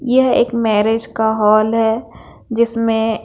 यह एक मैरिज का हॉल है जिसमें--